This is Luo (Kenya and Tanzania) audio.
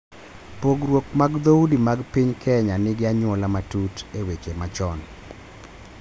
Pogruok mag dhoudi mag piny Kenya nigi anyuola matut e weche machon,